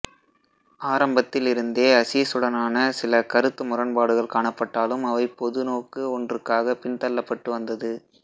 ஆரம்பத்தில் இருந்தே அசீசுடனான சில கருத்து முரன்பாடுகள் காணப்பட்டாலும் அவை பொது நோக்கு ஒன்றுக்காக பின்தள்ளப்பட்டு வந்தது